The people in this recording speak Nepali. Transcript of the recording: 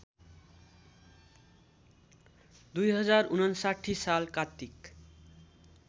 २०५९ साल कात्तिक